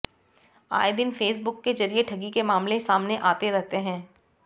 आए दिन फेसबुक के जरिये ठगी के मामले सामने आते रहते हैं